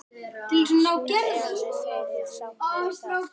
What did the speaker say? Eruð þið sátt við það?